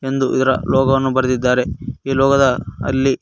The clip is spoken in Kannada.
ಇದೊಂದು ಇದರ ಲೊಗ ವನ್ನು ಬರದಿದ್ದಾರೆ ಇ ಲೊಗ ದ ಅಲ್ಲಿ--